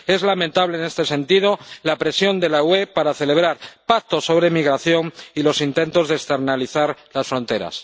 Es lamentable, en este sentido, la presión de la UE para celebrar pactos sobre migración y los intentos de externalizar las fronteras.